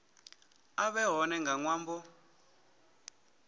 a vhe hone nga ṅwambo